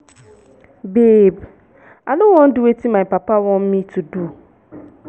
babe i no wan do wetin my papa want me to do.